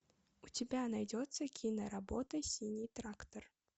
у тебя найдется киноработа синий трактор